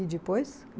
E depois?